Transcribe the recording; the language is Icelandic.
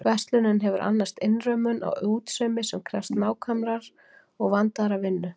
Verslunin hefur annast innrömmun á útsaumi sem krefst nákvæmrar og vandaðrar vinnu.